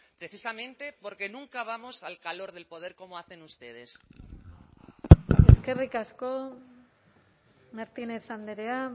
precisamente porque nunca vamos al calor del poder como hacen ustedes eskerrik asko martínez andrea